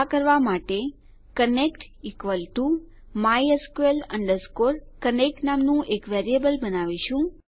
આ કરવા માટે connect equal to mysql connect નામનું એક વેરીએબલ બનાવીશું